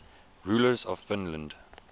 rulers of finland